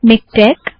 MiKTeX